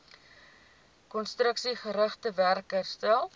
konstruksiegerigte werk herstel